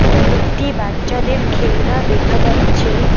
কয়েকটি বাচ্চাদের খেলনা দেখা যাচ্ছে।